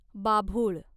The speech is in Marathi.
बाभुळ